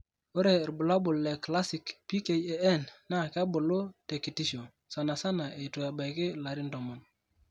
ore irbulabol le classic PKAN naa kebulu tekitisho, sanasana eitu ebaiki ilarin 10.